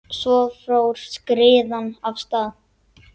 Svo fór skriðan af stað.